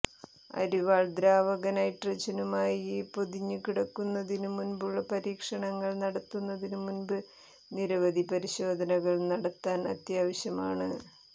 അരിവാൾ ദ്രാവക നൈട്രജനുമായി പൊതിഞ്ഞുകിടക്കുന്നതിനു മുമ്പുള്ള പരീക്ഷണങ്ങൾ നടത്തുന്നതിന് മുമ്പ് നിരവധി പരിശോധനകൾ നടത്താൻ അത്യാവശ്യമാണ്